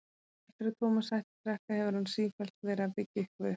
Eftir að Tómas hætti að drekka hefur hann sífellt verið að byggja eitthvað upp.